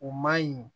O man ɲi